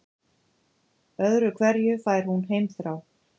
Öðru hverju fær hún heimþrá.